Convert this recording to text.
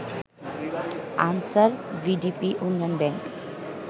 answer VDP উন্নয়ন bank